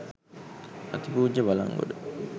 අතිපූජ්‍ය Balangoda